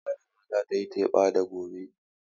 Malama za ta yi wa yara tatsuniya.